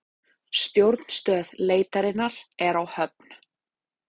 Stjórnstöð leitarinnar er á Höfn